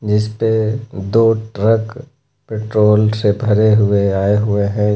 जिसपे दो truck petrol से भरे हुए आए हुए है।